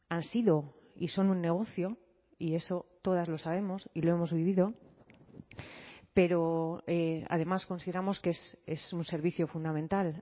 han sido y son un negocio y eso todas lo sabemos y lo hemos vivido pero además consideramos que es un servicio fundamental